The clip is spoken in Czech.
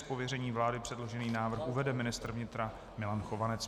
Z pověření vlády předložený návrh uvede ministr vnitra Milan Chovanec.